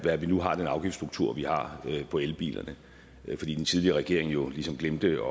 at vi nu har den afgiftsstruktur vi har på elbilerne fordi den tidligere regering jo ligesom glemte